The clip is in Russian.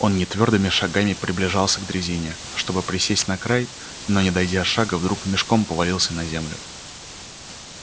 он нетвёрдыми шагами приближался к дрезине чтобы присесть на край но не дойдя шага вдруг мешком повалился на землю